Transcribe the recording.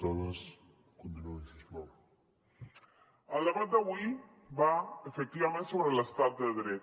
el debat d’avui va efectivament sobre l’estat de dret